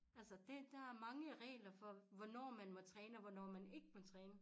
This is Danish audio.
Altså dét der er mange regler for hvornår man må træne og hvornår man ikke må træne